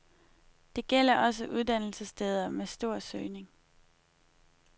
Det gælder også uddannelsessteder med stor søgning.